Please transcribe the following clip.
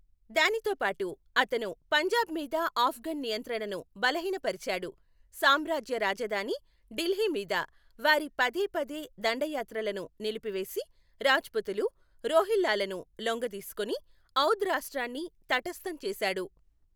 దానితో పాటు, అతను పంజాబ్ మీద ఆఫ్ఘన్ నియంత్రణను బలహీనపరిచాడు, సామ్రాజ్య రాజధాని ఢిల్లీ మీద వారి పదేపదే దండయాత్రలను నిలిపివేసి, రాజ్పుతులు, రోహిల్లాలను లొంగదీసుకుని, ఔద్ రాష్ట్రాన్ని తటస్థం చేసాడు.